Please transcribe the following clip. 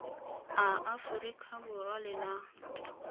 a aforika borwa le naga